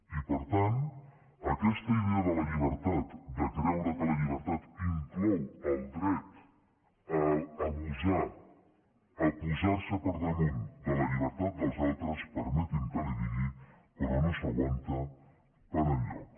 i per tant aquesta idea de la llibertat de creure que la llibertat inclou el dret a abusar a posar se per damunt de la llibertat dels altres permeti’m que li ho digui però no s’aguanta per enlloc